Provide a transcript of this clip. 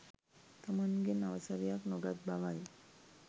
තමන්ගෙන් අවසරයක් නොගත් බවයි